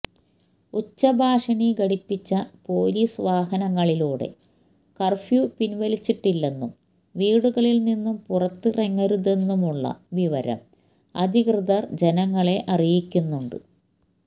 ഉച്ചഭാഷിണി ഘടിപ്പിച്ച പോലീസ് വാഹനങ്ങളിലൂടെ കര്ഫ്യൂ പിന്വലിച്ചിട്ടില്ലെന്നും വീടുകളില് നിന്നും പുറത്തിറങ്ങരുതെന്നുമുള്ള വിവരം അധികൃതര് ജനങ്ങളെ അറിയിക്കുന്നുണ്ട്